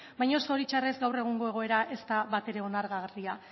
baina zoritxarrez gaur egungo egoera ez da batere onargarria